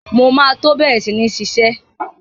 Mo máa tó bẹ̀rẹ̀ sí ní iṣẹ́.